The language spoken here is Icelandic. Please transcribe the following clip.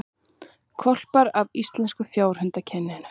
Hvolpar af íslenska fjárhundakyninu